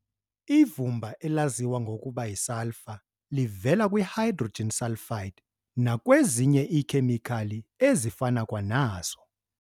Ivumba elaziwa ngokuba y"i-sulfur" livela kwi-hydrogen sulfide nakwezinye iikhemikhali ezifana kwanazo.